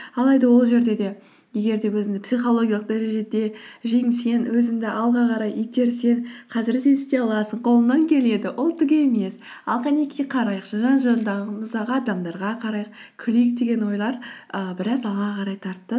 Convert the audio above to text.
алайда ол жерде де егер де өзіңді психологиялық дәрежеде жеңсең өзіңді алға қарай итерсең қазір сен істей аласың қолыңнан келеді ол түк емес ал қанекей қарайықшы жан жағындағымызға адамдарға қарайық күлейік деген ойлар ііі біраз алға қарай тартты